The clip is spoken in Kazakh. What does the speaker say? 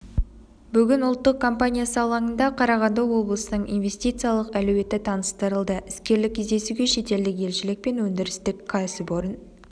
бүгін ұлттық компаниясы алаңында қарағанды облысының инвестициялық әлеуеті таныстырылды іскерлік кездесуге шетелдік елшілік пен өндірістік кәсіпорын